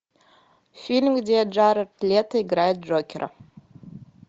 фильм где джаред лето играет джокера